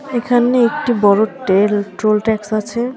এখানে একটি বড় টেল ট্রোল ট্যাক্স আছে।